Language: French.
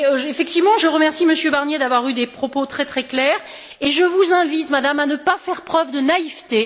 Effectivement, je remercie Monsieur Barnier d'avoir tenu des propos très clairs et je vous invite, Madame, à ne pas faire preuve de naïveté.